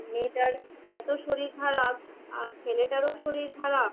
মেয়েটার এত শরীর খারাপ, আর ছেলেটার ও খারাপ।